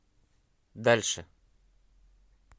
дальше